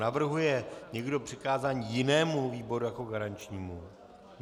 Navrhuje někdo přikázání jinému výboru jako garančnímu?